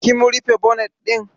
Kim rufe bonet ɗin?